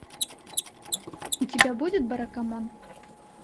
у тебя будет баракамон